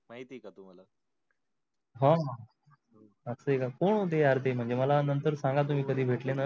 अस आहे का कोण होते यार ते म्हणजे मला नंतर सांगा तुम्ही कधी भेटले न